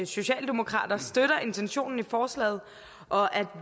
socialdemokrater støtter intentionen i forslaget og at